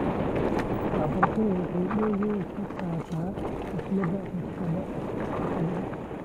Waxbarashadu waxay door weyn ka qaadatay dhimista rabshadaha .